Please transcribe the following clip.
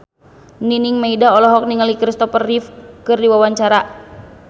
Nining Meida olohok ningali Christopher Reeve keur diwawancara